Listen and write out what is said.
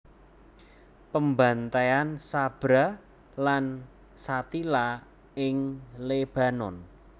Pembantaian Sabra lan Shatila ing Lebanon